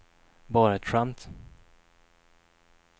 bara ett skämt